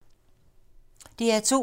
DR2